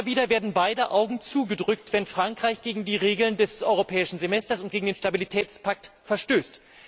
Immer wieder werden beide Augen zugedrückt, wenn Frankreich gegen die Regeln des Europäischen Semesters und gegen den Stabilitätspakt verstößt.